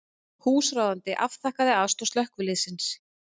Húsráðandi afþakkaði aðstoð slökkviliðsins